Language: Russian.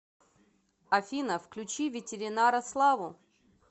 афина включи ветеринара славу